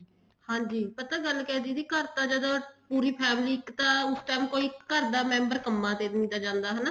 ਹਾਂਜੀ ਪਤਾ ਗੱਲ ਕਿਆ ਦੀਦੀ ਘਰ ਤਾਂ ਜਦੋਂ ਪੂਰੀ family ਇੱਕ ਤਾਂ ਉਸ time ਕੋਈ ਘਰ ਦਾ member ਕੰਮਾ ਤੇ ਵੀ ਜਾਂਦਾ ਹੈਗਾ ਹਨਾ